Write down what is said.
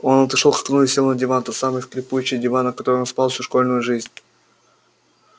он отошёл к окну и сел на диван тот самый скрипучий диван на котором спал всю школьную жизнь